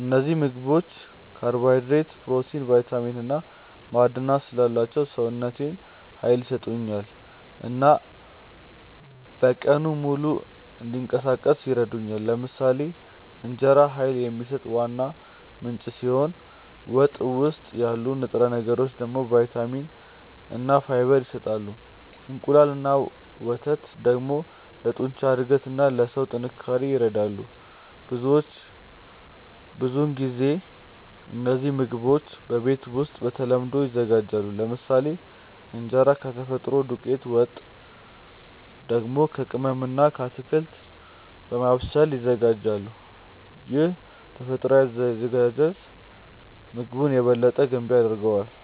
እነዚህ ምግቦች ካርቦሃይድሬት፣ ፕሮቲን፣ ቫይታሚን እና ማዕድናት ስላላቸው ሰውነቴን ኃይል ይሰጡኛል እና በቀኑ ሙሉ እንዲንቀሳቀስ ይረዱኛል። ለምሳሌ እንጀራ ኃይል የሚሰጥ ዋና ምንጭ ሲሆን ወጥ ውስጥ ያሉ ንጥረ ነገሮች ደግሞ ቫይታሚን እና ፋይበር ይሰጣሉ። እንቁላል እና ወተት ደግሞ ለጡንቻ እድገት እና ለሰውነት ጥንካሬ ይረዳሉ። ብዙውን ጊዜ እነዚህ ምግቦች በቤት ውስጥ በተለምዶ ይዘጋጃሉ፤ ለምሳሌ እንጀራ ከተፈጥሮ ዱቄት፣ ወጥ ደግሞ በቅመም እና በአትክልት በማብሰል ይዘጋጃል። ይህ ተፈጥሯዊ አዘገጃጀት ምግቡን የበለጠ ገንቢ ያደርገዋል።